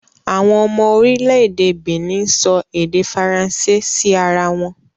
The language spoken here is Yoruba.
Àwọn ọmọ orílẹ̀ èdè Benin ń sọ èdè Faransé sí ara wọn